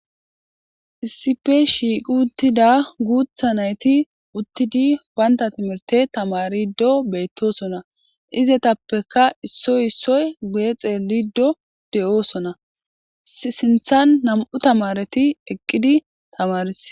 Issipe shiiqi uttida guutha nayti uttidi baynta timirte tamarido beettosona izetappeka issoy issoy guye xeelido de7oosona sinthan nam7u tamareti eqqidi tamaris.